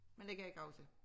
Men det kan jeg ikke huske